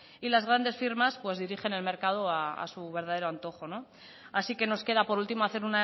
y las grandes firmas pues dirigen el mercado a su verdadero antojo así que nos queda por último hacer